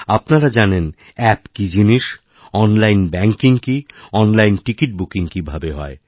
আপনারা জানেন অ্যাপ কীজিনিস অনলাইন ব্যাঙ্কিং কী অনলাইন টিকিট বুকিং কীভাবে হয়